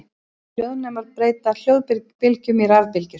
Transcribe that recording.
Hljóðnemar breyta hljóðbylgjum í rafbylgjur.